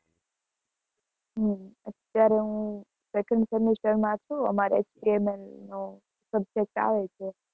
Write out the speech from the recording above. હં અત્યારે હું second semester માં છું, અમારે HTML નો subject આવે છે.